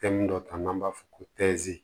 Fɛn dɔ ta n'an b'a fɔ ko